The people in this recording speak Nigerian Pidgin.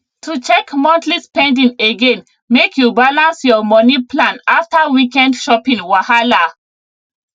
to check monthly spending again make you balance your money plan after weekend shopping wahala